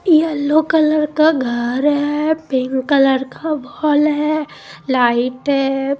Yellow colour का घर है पिकं कलर का बाॅल है लाइट है।